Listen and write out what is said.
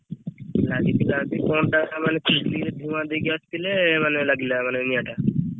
ଲାଗିଥିଲା କଣଟା ମାନେ ଚୁଲିରେ ଧୁଆଁ ଦେଇକି ଆସିଥିଲେ ମାନେ ଲାଗିଲା ମାନେ ନିଆଁଟା।